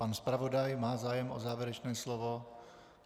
Pan zpravodaj má zájem o závěrečné slovo?